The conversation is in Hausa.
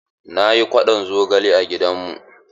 Na yi kwaɗon zogale a gidan mu.